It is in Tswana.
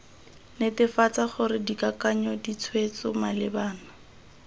netefatsa gore dikakanyo ditshwetso malebana